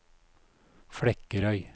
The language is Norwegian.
Flekkerøy